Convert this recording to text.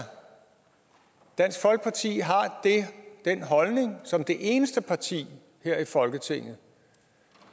dansk folkeparti har den holdning som det eneste parti her i folketinget